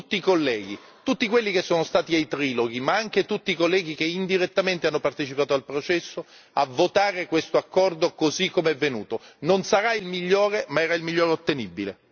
Oggi siamo vicini a un accordo e invito tutti i colleghi, tutti quelli che sono stati ai triloghi, ma anche tutti i colleghi che indirettamente hanno partecipato al processo, a votare questo accordo, così come è venuto.